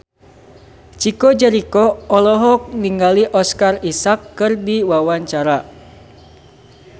Chico Jericho olohok ningali Oscar Isaac keur diwawancara